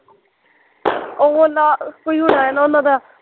ਉਹ ਨਾਲ਼, ਕੋਈ ਹੋਇਆ ਨਾ ਉਹਨਾਂ ਦਾ